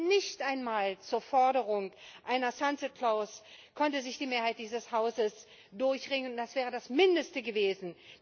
Nicht einmal zur Forderung einer sunset clause konnte sich die Mehrheit dieses Hauses durchringen, das wäre das Mindeste gewesen.